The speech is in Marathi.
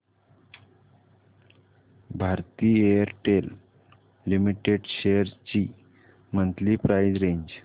भारती एअरटेल लिमिटेड शेअर्स ची मंथली प्राइस रेंज